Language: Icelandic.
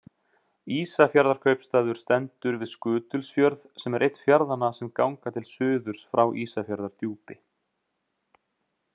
Ísafjarðarkaupstaður stendur við Skutulsfjörð sem er einn fjarðanna sem ganga til suðurs frá Ísafjarðardjúpi.